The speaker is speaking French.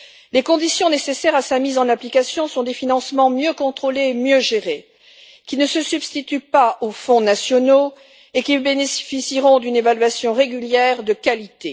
Les conditions nécessaires à sa mise en application sont des financements mieux contrôlés et mieux gérés qui ne se substituent pas aux fonds nationaux et qui bénéficient d'une évaluation régulière de qualité.